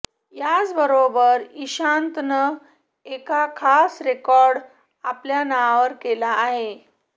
याचबरोबर इशांतनं एका खास रेकॉर्ड आपल्या नावावर केला आहे